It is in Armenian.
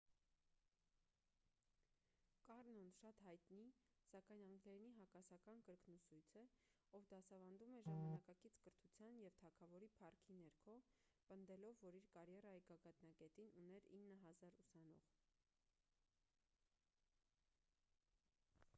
կառնոն շատ հայտնի սակայն անգլերենի հակասական կրկնուսույց է ով դասավանդում էր ժամանակակից կրթության և թագավորի փառքի ներքո պնդելով որ իր կարիերայի գագաթնակետին ուներ 9,000 ուսանող